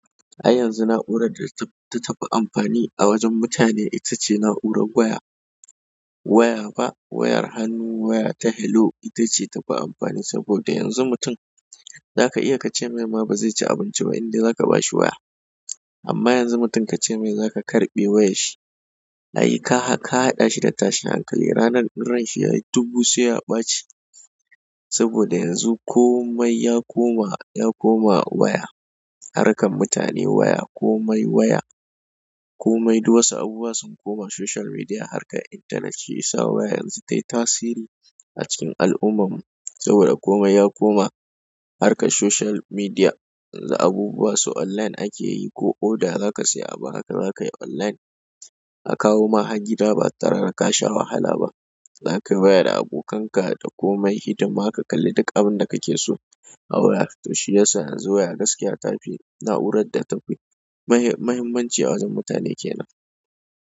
Ai yanzu na'urar da tafi amfani a wajen mutane itace, na'urar waya waya ba wayar hannu, waya ta hello ita ce tafi amfani saboda yanzu mutum za ka iya ka ce mai ba zai ci abinci ba indai za ka ba shi waya. Amma yanzu mutum ka ce mai za ka karɓe wayar shi, ayy ka haɗa shi da tashin hankali ranar ran shi ya yi dubu sai ya ɓaci. Saboda yanzu komai ya koma, ya koma waya. Harakar mutane waya, komai waya, komai duk wasu abubuwa sun komai social media harkan internet, shiyasa waya yanzu tai tasiri a cikin al'ummar mu. Saboda komai ya koma harkan social media. Yanzu abubuwa su online ake yi, ko order za ka saya abu haka za ka yi online. A kawo ma hae gida ba tare da ka sha wahala ba. Za kai waya da abokanka da komai hidima ka kalli duk abin da kake so a waya. To shi ya sa yanzu waya gaskiya ta fi na'urar da tafi muhimmanci a wajen mutane kenan.